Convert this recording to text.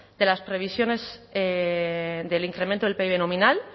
de las previsiones del incremento del pib nominal